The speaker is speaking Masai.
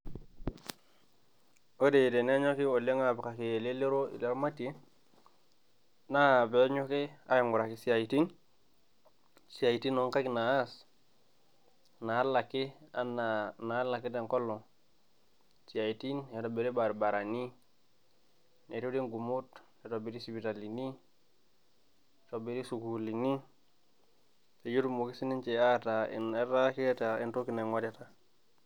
Ore tenenyoki oleng apikaki lelero iramatii naa pee enyoki aing'orai siatin. Siatin onkaiik naas nalaaki anaa nalaaik tengolon. Siatin eitobiri barabarani, nerore ng'umoot, eitobiri siptalini, eitobiri sukuulini pee etumoki si ninche etaa, etaa keeta entoki naing'orita.